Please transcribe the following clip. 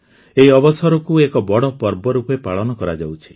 ଏହି ଅବସରକୁ ଏକ ବଡ଼ ପର୍ବ ରୂପେ ପାଳନ କରାଯାଉଛି